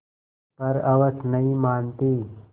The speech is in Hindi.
पर हवस नहीं मानती